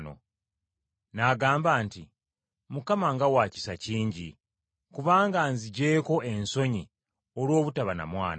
N’agamba nti, “Mukama nga wa kisa kingi, kubanga anziggyeeko ensonyi olw’obutaba na mwana.”